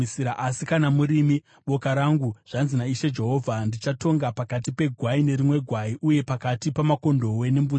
“ ‘Asi kana murimi, boka rangu, zvanzi naIshe Jehovha: Ndichatonga pakati pegwai nerimwe gwai, uye pakati pamakondobwe nembudzi.